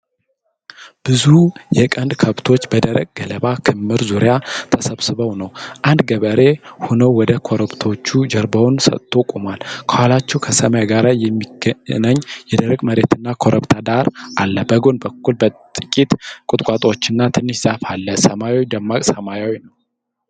ብዙ የቀንድ ከብቶች በደረቅ ገለባ ክምር ዙሪያ ተሰብስበው ነው። አንድ ገበሬ ሆነው ወደ ከብቶቹ ጀርባውን ሰጥቶ ቆሟል። ከኋላቸው ከሰማይ ጋር የሚገናኝ የደረቅ መሬትና ኮረብታ ዳራ አለ። በጎን በኩል ጥቂት ቁጥቋጦዎችና ትንሽ ዛፍ አለ። ሰማዩ ደማቅ ሰማያዊ ነው።